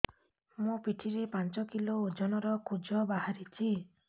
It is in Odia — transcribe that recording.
ମୋ ପିଠି ରେ ପାଞ୍ଚ କିଲୋ ଓଜନ ର କୁଜ ବାହାରିଛି